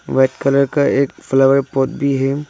White colour का एक flower pot भी है।